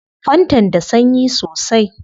Fantan da sanyi sosai